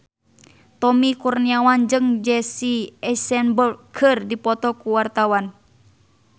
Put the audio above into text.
Tommy Kurniawan jeung Jesse Eisenberg keur dipoto ku wartawan